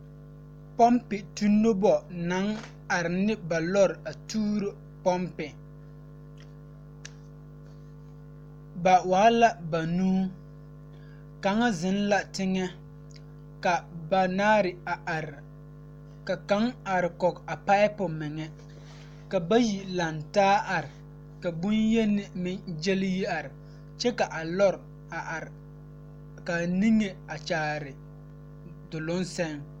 Pɔmpitu noba naŋ are ne ba lɔre tuuro pɔmpiŋ ba waa la banuu kaŋa zeŋ la teŋɛ ka banaare a are ka kaŋ arekɔɡe a paapu meŋɛ ka bayi lantaa are ka bonyeni meŋ ɡyɛle yi are kyɛ ka a lɔre a are ka a niŋe kyaare doloŋ sɛŋ.